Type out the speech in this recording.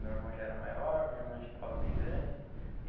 Meu irmão já era maior, minha irmã já estava bem grande.